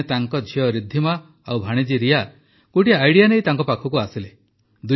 ଦିନେ ତାଙ୍କ ଝିଅ ରିଦ୍ଧିମା ଆଉ ଭାଣିଜୀ ରିୟା ଗୋଟିଏ ଆଇଡିଆ ନେଇ ତାଙ୍କ ପାଖକୁ ଆସିଲେ